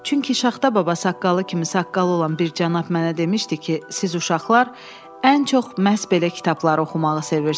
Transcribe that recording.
Çünki Şaxta baba saqqalı kimi saqqalı olan bir cənab mənə demişdi ki, siz uşaqlar ən çox məhz belə kitabları oxumağı sevirsiz.